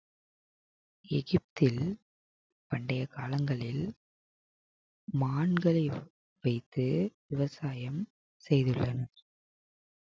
எகிப்தில் பண்டைய காலங்களில் மான்களை வைத்து விவசாயம் செய்துள்ளனர்